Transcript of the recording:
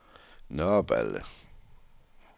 Nørreballe